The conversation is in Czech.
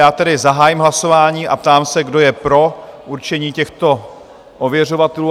Já tedy zahájím hlasování a ptám se, kdo je pro určení těchto ověřovatelů?